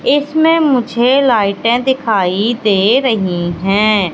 इसमें मुझे लाइटे दिखाई दे रही है।